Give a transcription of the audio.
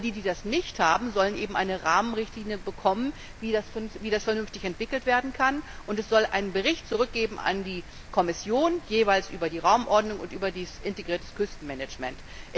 All jene, die das nicht haben, sollen eben eine Rahmenrichtlinie bekommen, wie das vernünftig entwickelt werden kann, und es soll einen Bericht zurück an die Kommission geben, jeweils über die Raumordnung und über das integrierte Küstenmanagement.